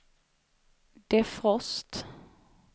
defrost